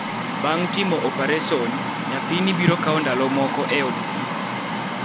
Bang' Timo Opereson Bang' timo opares, nyathini biro kawo ndalo moko e od thieth.